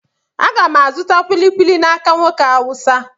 Aga m azụta kulikuli n'aka nwoke Hausa.